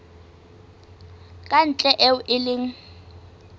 ka ntle eo e leng